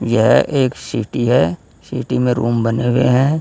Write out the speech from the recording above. यह एक सीटी है सिटी में रूम बने हुए हैं।